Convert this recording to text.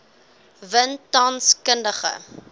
win tans kundige